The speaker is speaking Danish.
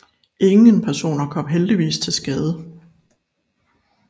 Ingen personer kommer heldigvis til skade